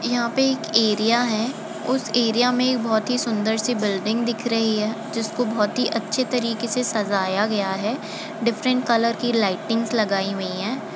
यहाँ पे एक एरिया है उस एरिया में एक बहुत ही सुन्दर-सी बिल्डिंग दिख रही है। जिसको बहुत ही अच्छे तरीके से सज़ाया गया है डिफरेंट कलर की लाइटिंग्स लगाई हुई हैं।